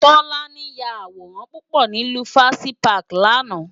Tolani yá àwórán púpò ni Lufasi pàkí làná